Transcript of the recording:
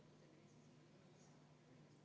Aitäh, austatud aseesimees!